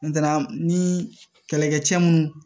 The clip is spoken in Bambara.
ni kɛlɛkɛcɛ minnu